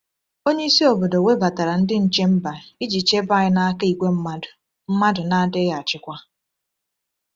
Onyeisi obodo webatara Ndị Nche Mba iji chebe anyị n’aka ìgwè mmadụ mmadụ na-adịghị achịkwa.